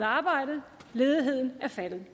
arbejde og ledigheden er faldet